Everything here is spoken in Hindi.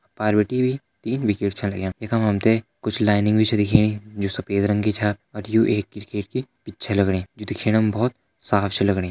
पार बिटि भी तीन विकेट छा लग्यां यख मा हम ते कुछ लाइनिंग भी छ दिखेणी जु सफेद रंग की छा यु दिखेणा मा एक क्रिकेट की पिच छ लग्णी जु दिखेणा मा बहोत साफ छा लग्णी।